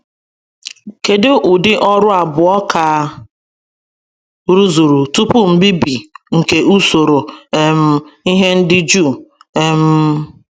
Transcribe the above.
Kedụ ụdì Ọrụ abụo ka a rụzuru tụpụ mbibi nke usoro um ihe ndị Juu? um